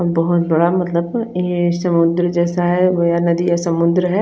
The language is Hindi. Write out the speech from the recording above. और बोहोत बड़ा मतलब ये समुन्द्र जेसा है महा नदी या समुन्द्र है।